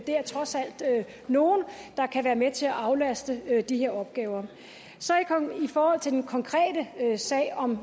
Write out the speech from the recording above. er trods alt nogle der kan være med til at aflaste i forbindelse med de her opgaver i forhold til den konkrete sag om